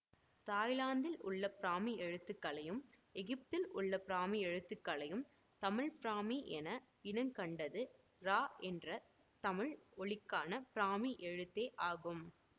தாய்லாந்தில் உள்ள பிராமி எழுத்துக்களையும் எகிப்தில் உள்ள பிராமி எழுத்துக்களையும் தமிழ் பிராமி என இனங்கண்டது ற என்ற தமிழ் ஒலிக்கான பிராமி எழுத்தே ஆகும்